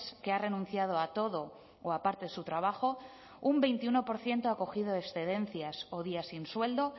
que ha renunciado a todo o a parte de su trabajo un veintiuno por ciento ha cogido excedencias o días sin sueldo